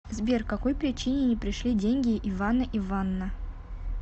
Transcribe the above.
сбер какой причине не пришли деньги ивана иванна